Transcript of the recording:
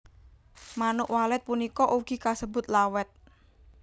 Manuk Walet punika ugi kasebut Lawet